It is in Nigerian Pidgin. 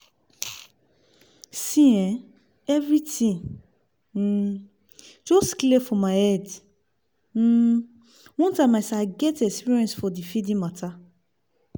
see eh everything um just clear for my head um one time as i get experience for the feeding matter